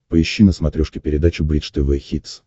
поищи на смотрешке передачу бридж тв хитс